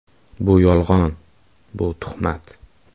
Bu yolg‘on, bu tuhmat.